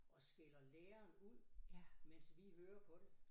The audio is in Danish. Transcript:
Og skælder læreren ud mens vi hører på det